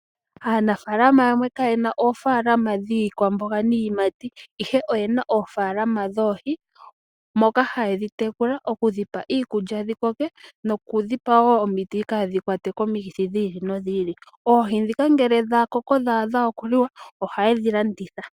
Aanafalama yamwe kayena oofalama dhiikwamboga niiyimati, ihe oyena oofalama dhoohi moka haye dhitekula okudhipa iikulya dhikoke ,nokudhipa omiti kadhikwate komikithi dhi ili no dhi ili. Oohi dhika ngee dhakoko ohaye dhilanditha.